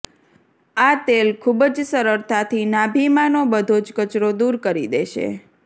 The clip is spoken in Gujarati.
આ તેલ ખુબ જ સરળથાથી નાભિમાંનો બધો જ કચરો દૂર કરી દેશે